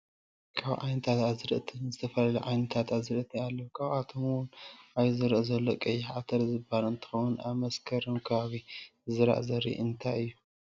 ካብ ዓይነታት ኣዝርእትን ዝተፈላለዩ ዓይነታት ኣዘርእቲ ኣለው ካብኣቶም እውን ኣብዚ ዝረኣ ዘሎ ቀይሕ ዓተር ዝብሃል እትከውን ኣብ መስከረም ከባቢ ዝዝራእ ዘርኢ እንታይ እዩ?